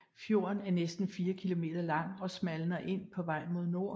Fjorden er næsten fire kilometer lang og smalner ind på vej mod nord